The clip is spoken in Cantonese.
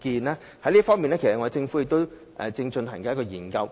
在這方面，政府其實正進行一項研究。